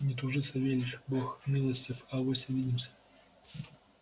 не тужи савельич бог милостив авось увидимся